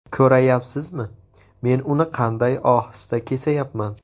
Ko‘rayapsizmi men uni qanday ohista kesayapman.